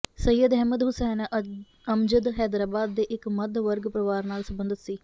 ਸਈਅਦ ਅਹਿਮਦ ਹੁਸੈਨ ਅਮਜਦ ਹੈਦਰਾਬਾਦ ਦੇ ਇੱਕ ਮੱਧ ਵਰਗ ਪਰਿਵਾਰ ਨਾਲ ਸਬੰਧਤ ਸੀ